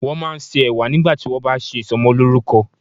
Wọ́n máa ń se Ẹ̀wà nígbà tí wón bá ṣe ìsọmọlórúkọ.